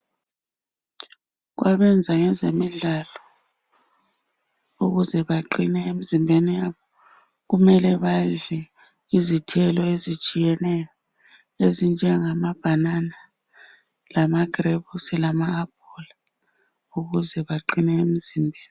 Kwabenza ngezemidlalo ukuze baqine emzimbeni yabo kumele badle izithelo ezitshiyeneyo ezinjengama bhanana lamagrebusi lama aphula ukuze baqine emzimbeni.